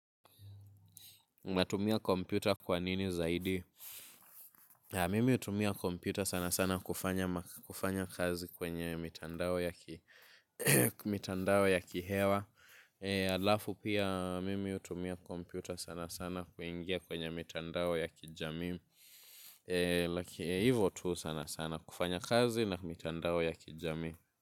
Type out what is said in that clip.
Natumia kompyuta kwa nini zaidi? Mimi utumia kompyuta sana sana kufanya kazi kwenye mitandao ya kihewa. Alafu pia, mimi utumia kompyuta sana sana kuingia kwenye mitandao ya kijami. Hivo tu sana sana kufanya kazi na mitandao ya kijami.